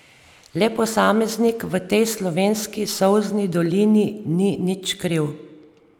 Le posameznik v tej slovenski solzni dolini ni nič kriv.